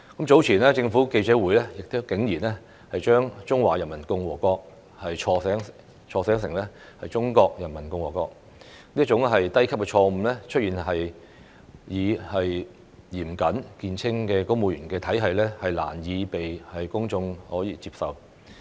早前政府記者會竟然把"中華人民共和國"，錯寫成"中國人民共和國"，這種低級錯誤出現在以嚴謹見稱的公務員體系，難以被公眾接受。